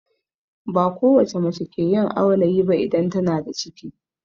Ba kowacce mace ke yin aulayi ba idan tana da ciki